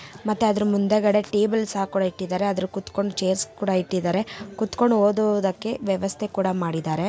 ಮತ್ತೆ ಅದರ ಮುಂದೆಕಡೆ ಟೇಬಲ್ ಸಹ ಕೂಡ ಇಟ್ಟಿದರೆ ಅದರು ಕುತುಕೊಂಡು ಚೈರ್ಸ್ ಕೂಡ ಇಟ್ಟಿದರೆ ಕುತುಕೊಂಡು ಓದುವುದಕ್ಕೆ ವ್ಯವಸ್ಥೆ ಕೂಡ ಮಾಡಿದರೆ --